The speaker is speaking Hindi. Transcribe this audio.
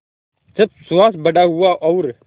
जब सुहास बड़ा हुआ और